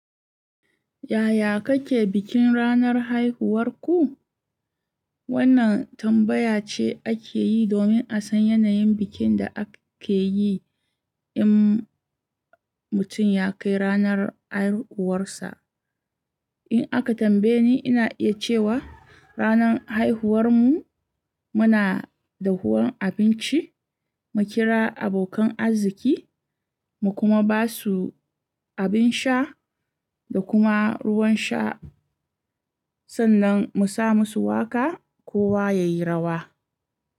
Yaya kake bikin ranar haihuwar ku? Wannan tambaya ce ake yi domin a san yanayin bikin da ake yi in mutun ya kai ranar haihuwarsa. In aka tambaye ni, ina iya cewa ranar haihuwarmu muna dahuwan abinci, mu kira abokan arziki, mu kuma ba su abin sha da kuma ruwan sha, sannan mu sa musu waƙa, kowa ya yi rawa.